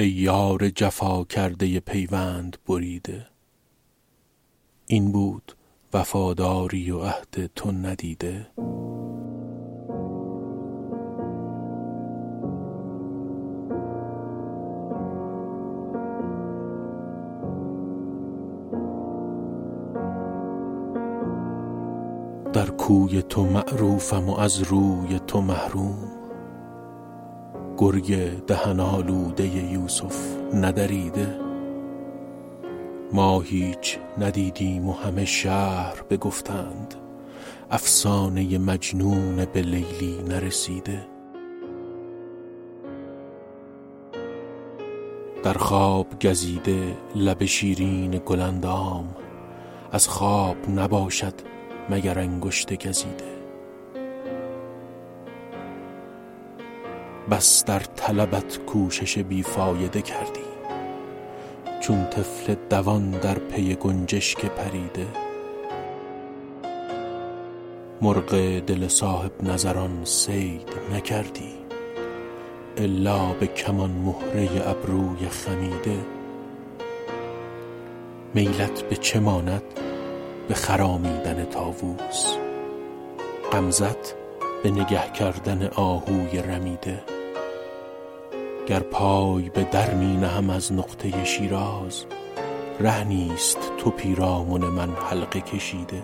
ای یار جفا کرده پیوند بریده این بود وفاداری و عهد تو ندیده در کوی تو معروفم و از روی تو محروم گرگ دهن آلوده یوسف ندریده ما هیچ ندیدیم و همه شهر بگفتند افسانه مجنون به لیلی نرسیده در خواب گزیده لب شیرین گل اندام از خواب نباشد مگر انگشت گزیده بس در طلبت کوشش بی فایده کردیم چون طفل دوان در پی گنجشک پریده مرغ دل صاحب نظران صید نکردی الا به کمان مهره ابروی خمیده میلت به چه ماند به خرامیدن طاووس غمزه ت به نگه کردن آهوی رمیده گر پای به در می نهم از نقطه شیراز ره نیست تو پیرامن من حلقه کشیده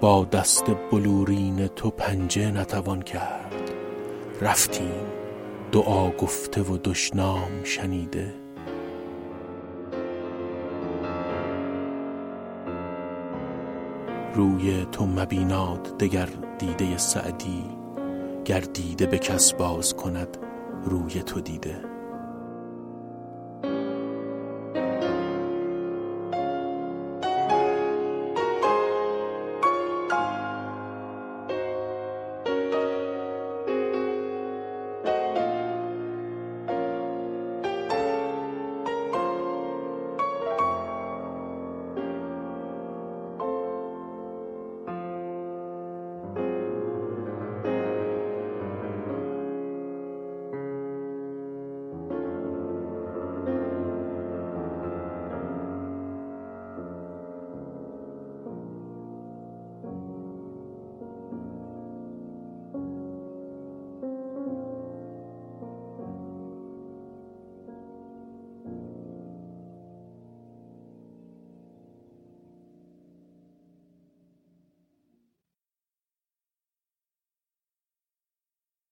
با دست بلورین تو پنجه نتوان کرد رفتیم دعا گفته و دشنام شنیده روی تو مبیناد دگر دیده سعدی گر دیده به کس باز کند روی تو دیده